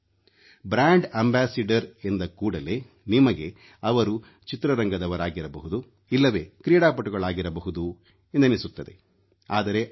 brand ambassador ಎಂದ ಕೂಡಲೇ ನಿಮಗೆ ಅವರು ಚಿತ್ರರಂಗದವರಾಗಿರಬಹುದು ಇಲ್ಲವೇ ಕ್ರೀಡಾಪಟುಗಳಾಗಿರಬಹುದು ಎಂದೆನಿಸಬಹುದು ಆದರೆ ಅಲ್ಲ